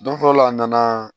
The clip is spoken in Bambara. Don fɔlɔ la a nana